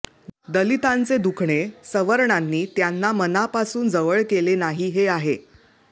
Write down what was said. दलितांचे दुखणे सवर्णांनी त्यांना मनापासून जवळ केले नाही हे आहे